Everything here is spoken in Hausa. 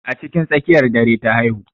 Jiya cikin tsakiyar dare ta haihu.